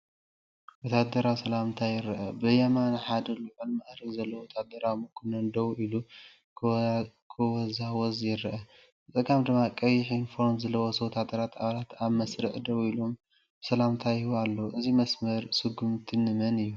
ወተሃደራዊ ሰላምታ ይረአ። ብየማን ሓደ ልዑል መዓርግ ዘለዎ ወተሃደራዊ መኮነን ደው ኢሉ ክወዛወዝ ይረአ። ብጸጋም ድማ ቀይሕ ዩኒፎርም ዝለበሱ ወተሃደራዊ ኣባላት ኣብ መስርዕ ደው ኢሎም ሰላምታ ይህቡ ኣለዉ። እዚ መስመር ስጉምቲ ንመን እዩ?